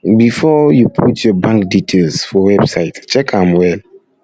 um before um you put your bank details um for website check am well